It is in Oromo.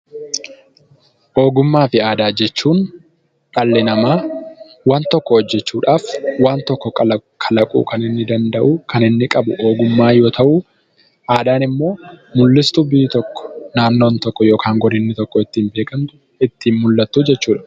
Ogummaa fi aadaa jechuun dhalli namaa waan tokko hojjechuudhaaf waan tokko kalaquu kan inni danda'u kan inni qabu ogummaa yoo ta'u, aadaan immoo mul'istuu biyyi tokko, naannoon tokko yookaan godinni tokko ittiin beekamtu, ittiin mul'attu jechuu dha.